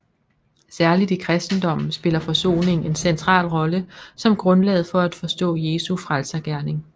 Særligt i kristendommen spiller forsoningen en central rolle som grundlaget for at forstå Jesu frelsergerning